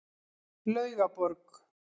Laugaborg